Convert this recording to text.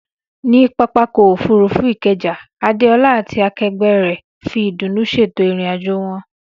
Ní pápákọ̀ òfurufú Ikeja, Adeola àti akẹgbẹ́ rẹ̀ fi ìdùnnú ṣètò ìrìn-àjò wọn.